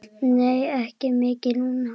Nei, ekki mikið núna.